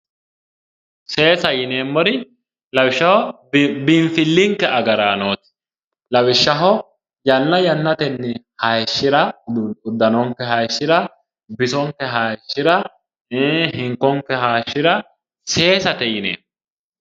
Seesa yineemmori lawishshaho biinfilinke agarranoti lawishshaho yanna yannateni hayishira udanonke hayishira bisonke hayishira hinkonke hayishira seesate yineemmo